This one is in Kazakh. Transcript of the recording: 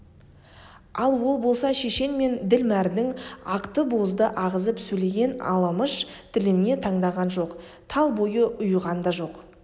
ал ол болса шешен мен ділмәрдің ақты-бозды ағызып сөйлеген аламыш тіліне таңданған жоқ тал бойы ұйыған да жоқ